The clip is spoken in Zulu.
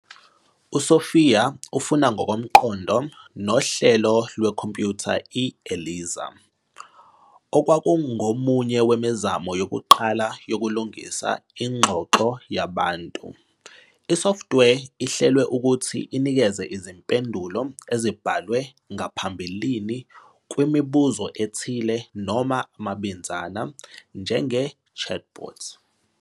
USophia ufana ngokomqondo nohlelo lwekhompyutha i-ELIZA, okwakungomunye wemizamo yokuqala yokulingisa ingxoxo yabantu. Isoftware ihlelwe ukuthi inikeze izimpendulo ezibhalwe ngaphambilini kumibuzo ethile noma amabinzana, njenge- chatbot.